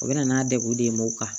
U bɛ na n'a degun de ye m'o kan